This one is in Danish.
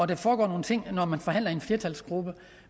der foregår nogle ting når man forhandler i en flertalsgruppe